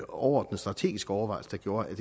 overordnet strategisk overvejelse der gjorde at